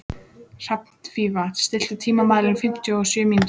Hrafnfífa, stilltu tímamælinn á fimmtíu og sjö mínútur.